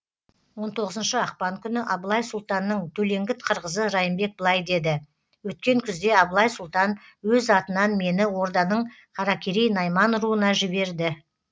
он тоғызыншы ақпан күні абылай сұлтанның төлеңгіт қырғызы райымбек былай деді өткен күзде абылай сұлтан өз атынан мені орданың қаракерей найман руына жіберді